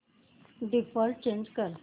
default change कर